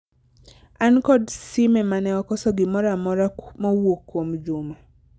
an kod sime mane okoso gimoro amora mowuok kuom Juma